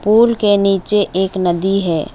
Pool के नीचे एक नदी है।